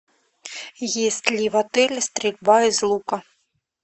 есть ли в отеле стрельба из лука